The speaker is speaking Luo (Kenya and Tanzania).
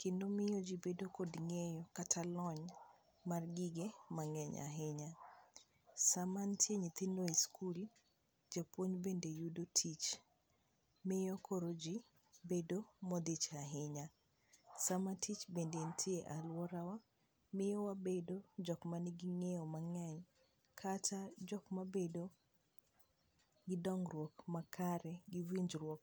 kendo miyo ji bedo kod ng'eyo kata lony mag gige mang'eny ahinya ,sama nitiere nyithindo e skul japuonj bende yudo tich, miyo koro ji bedo modich ahinya, sama tich bende nitie e aluorawa miyo wabedo jok man gi ngeyo mang'eny kata jok mabedo gi dongruok makare gi winjruok